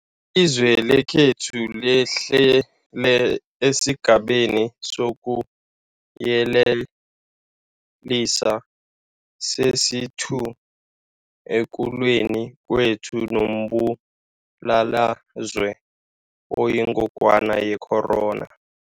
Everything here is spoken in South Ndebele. Ilizwe lekhethu lehlele esiGabeni sokuYele lisa sesi-2 ekulweni kwethu nombulalazwe oyingogwana yecorona .